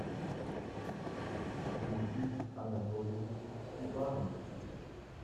дмитрий анатольевич степанов